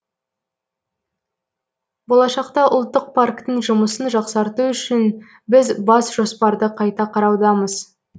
болашақта ұлттық парктің жұмысын жақсарту үшін біз бас жоспарды қайта қараудамыз